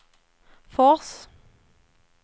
Fors